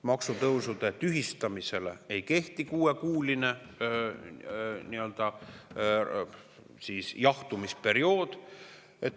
Maksutõusude tühistamisele ei kehti kuuekuuline nii-öelda jahtumisperiood.